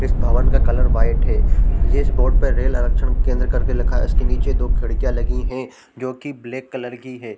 इस भवन का कलर व्हाइट है इस बोर्ड में रेल आरक्षण केंद्र करके लिखा है इसके नीचे दो खिड़कियाँ लगी है जो की ब्लैक कलर की है।